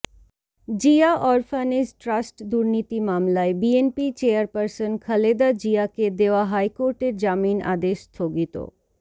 Zia orphanage trust দুর্নীতি মামলায় BNP chairperson Khaleda জিয়াকে দেওয়া হাইকোর্টের জামিন আদেশ স্থগিত